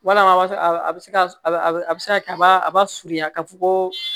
Wala a bɛ se ka a bɛ se ka kɛ a ba a ba surunya ka fɔ ko